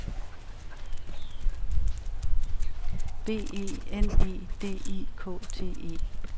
B E N E D I K T E